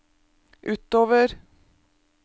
utover